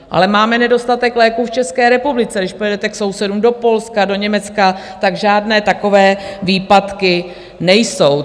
Ale máme nedostatek léků v České republice, když pojedete k sousedům do Polska, do Německa, tak žádné takové výpadky nejsou.